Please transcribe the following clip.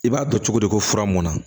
I b'a dɔn cogo di ko fura mɔnna